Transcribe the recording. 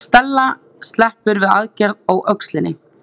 Stella sleppur við aðgerð á öxlinni